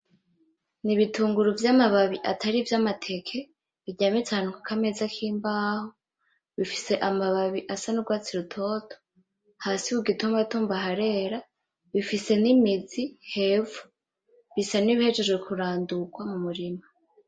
Nibitunguru vyamababi atari ivyamateke biryamitse ahantu kukameza k'imbaho, bifise amababi asa n'urwatsi rutoto, hasi kugitumbatumba harera, bifise n'imizi hepfo, bisa n'ibihejeje kurandurwa mumurima.